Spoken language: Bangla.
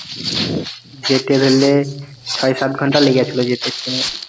যেতে ধরলে ছয় সাত ঘন্টায় লেগেছিল যেতে train.